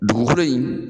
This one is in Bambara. Dugukolo in